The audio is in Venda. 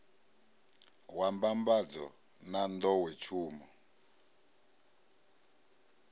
wa mbambadzo na n ḓowetsumo